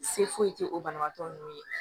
Se foyi te o banabagatɔ nunnu ye